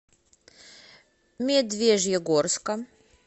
медвежьегорска